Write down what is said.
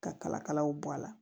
Ka kala kalaw bɔ a la